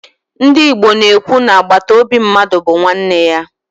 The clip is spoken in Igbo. Ndị Igbo na-ekwu na agbataobi mmadụ bụ nwanne ya.